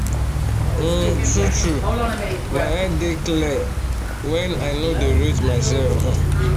um tru true my head dey clear um when i nor dey rate myself um